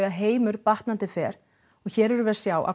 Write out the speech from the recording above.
heimur batnandi fer og hér er um við að sjá að